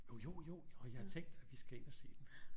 Jo jo jo jo jeg har tænkt at vi skal ind og se den